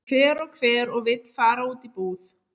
Hver og hver og vill fara út í búð?